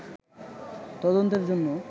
তদন্তের জন্য